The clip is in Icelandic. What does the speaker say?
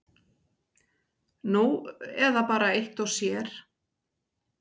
Nú eða bara eitt og sér.